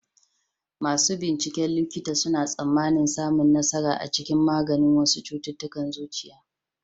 Masu binciken likita suna tsammanin samun nasara a cikin maganin wasu cututtukan zuciya.